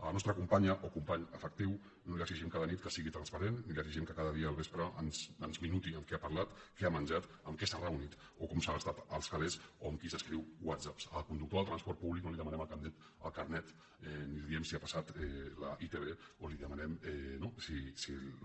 a la nostra companya o company afectiu no li exigim cada nit que sigui transparent ni li exigim que cada dia al vespre ens minuti amb qui ha parlat què ha menjat amb qui s’ha reunit o com s’ha gastat els calés o amb qui s’escriu whatsapps al conductor del transport públic no li demanem el carnet ni li diem si ha passat la itv o li demanem no si